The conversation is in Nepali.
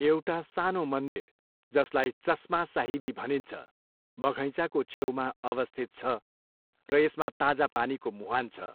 एउटा सानो मन्दिर, जसलाई चस्मा साहिबी भनिन्छ, बघैँचाको छेउमा अवस्थित छ र यसमा ताजा पानीको मुहान छ।